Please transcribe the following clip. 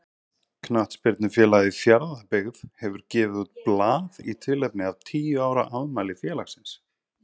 Knattspyrnufélagið Fjarðabyggð hefur gefið út blað í tilefni af tíu ára afmæli félagsins.